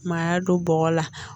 Maaya don bɔgɔ la